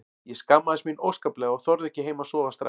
Ég skammaðist mín óskaplega og þorði ekki heim að sofa strax.